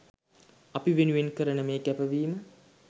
අපි වෙනුවෙන් කරන මේ කැපවීම